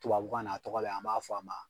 Tubabu kanna, a tɔgɔ bɛ yen, an b'a fɔ a ma